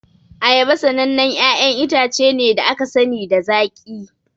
Ayaba sanannen 'ya'yan itace ne da aka sani da zaƙi.